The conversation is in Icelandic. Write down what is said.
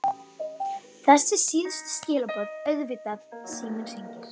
Þessi síðustu skilaboð auðvitað- Síminn hringir.